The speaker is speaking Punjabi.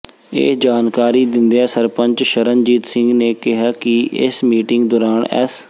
ਇਹ ਜਾਣਕਾਰੀ ਦਿੰਦਿਆਂ ਸਰਪੰਚ ਸ਼ਰਨਜੀਤ ਸਿੰਘ ਨੇ ਕਿਹਾ ਕਿ ਇਸ ਮੀਟਿੰਗ ਦੌਰਾਨ ਐਸ